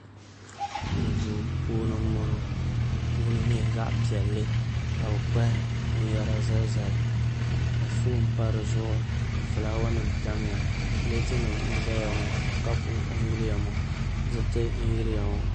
Duu puuni n boŋo di puuni nyɛla zaɣ piɛlli ka bi kpahi binyɛra zalizali ka foon pa dizuɣu ka fulaawa nim tamya pileet nim n ʒɛya ŋo kapu n yiliya ŋo diriti n yiliya ŋo